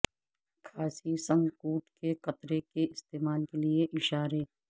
کھانسی سنککوڈ کے قطرے کے استعمال کے لئے اشارے